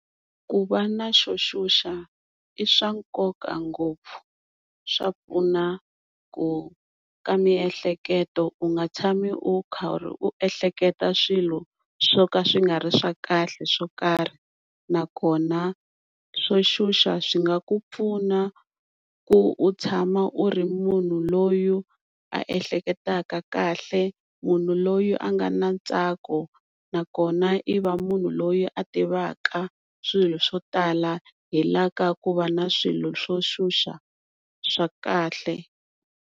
Ku va na xo xuxa i swa nkoka ngopfu swa pfuna ku ka miehleketo u nga tshami u karhi u ehleketa swilo swo ka swi nga ri swa kahle swo karhi nakona swo xuxa swi nga ku pfuna ku u tshama u ri munhu loyi a ehleketaka kahle munhu loyi a nga na ntsako nakona i va munhu loyi a tivaka swilo swo tala hila ka ku va na swilo swo xuxa swa kahle.